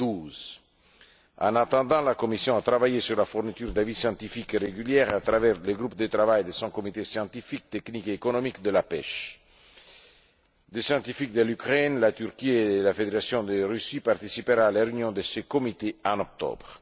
2012. En attendant, la Commission a travaillé sur la fourniture d'avis scientifiques réguliers à travers le groupe de travail de son comité scientifique, technique et économique de la pêche. Des scientifiques d'Ukraine, de Turquie et de la Fédération de Russie participeront à la réunion de ce comité en octobre.